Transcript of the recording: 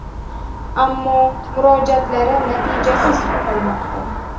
Ammo murojaatlari natijasiz qolmoqda.